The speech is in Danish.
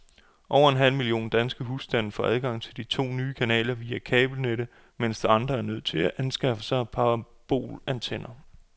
Over en halv million danske husstande får adgang til de to nye kanaler via kabelnettet, mens andre er nødt til at anskaffe sig parabolantenner.